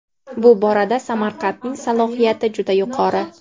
bu borada Samarqandning salohiyati juda yuqori.